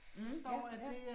Mh, ja ja